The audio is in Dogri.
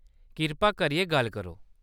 कृपा करियै गल्ल करो।